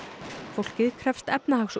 fólkið krefst